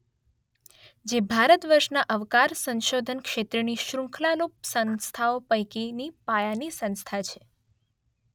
જે ભારતવર્ષનાં અવકાશ સંશોધન ક્ષેત્રની શૃંખલારૂપ સંસ્થાઓ પૈકીની પાયાની સંસ્થા છે.